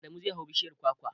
Adamu zai hau bishiyar kwakwar.